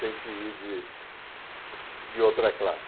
Tenho que ir de de outra classe.